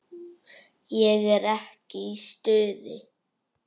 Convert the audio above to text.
Ég er ekki í stuði.